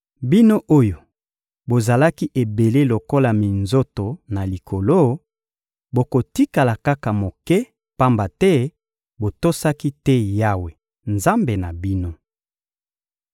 Bino oyo bozalaki ebele lokola minzoto na likolo, bokotikala kaka moke; pamba te botosaki te Yawe, Nzambe na bino.